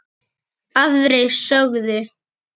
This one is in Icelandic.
Aðrir sögðu